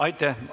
Aitäh!